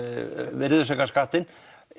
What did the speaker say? virðisaukaskattinn